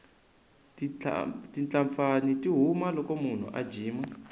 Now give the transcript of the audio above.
titlapfani ti huma loko munhu a jima